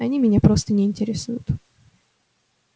они меня просто не интересуют